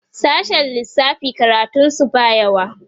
sashen lissafi karatun su ba yawa